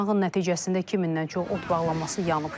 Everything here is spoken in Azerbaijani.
Yanğın nəticəsində 2000-dən çox ot bağlaması yanıb.